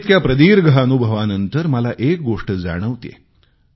पण इतक्या प्रदीर्घ अनुभवानंतर मला एक गोष्ट जाणवतेय